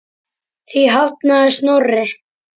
Því hafnaði Snorri.